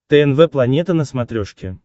тнв планета на смотрешке